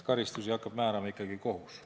Karistusi hakkab määrama ikkagi kohus.